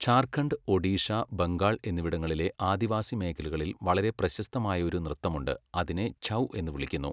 ഝാർഖണ്ഡ്, ഒഡീഷ, ബംഗാൾ എന്നിവിടങ്ങളിലെ ആദിവാസി മേഖലകളിൽ വളരെ പ്രശസ്തമായ ഒരു നൃത്തമുണ്ട്, അതിനെ ഛൗ എന്ന് വിളിക്കുന്നു.